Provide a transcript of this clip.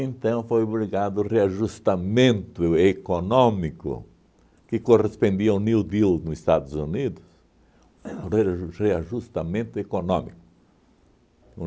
Então foi obrigado o reajustamento econômico que correspondia ao New Deal no Estados Unidos, o rea reajustamento econômico.